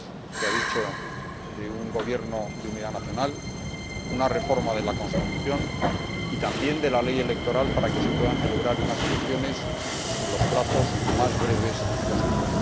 Se ha dicho que a través de un gobierno de unidad nacional y de una reforma de la constitución y también de la ley electoral para que se puedan celebrar unas elecciones en los plazos más breves posibles.